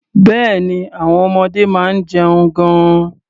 Bẹ́ẹ̀ni, àwọn ọmọdé máa ń jẹun gan-an.